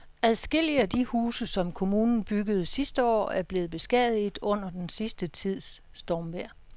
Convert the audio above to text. Adskillige af de huse, som kommunen byggede sidste år, er blevet beskadiget under den sidste tids stormvejr.